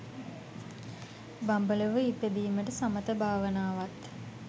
බඹලොව ඉපදීමට සමථ භාවනාවත්,